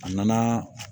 A nana